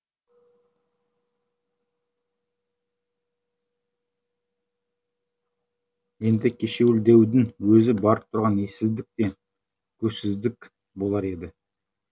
енді кешеуілдеудің өзі барып тұрған ессіздік те көзсіздік болар еді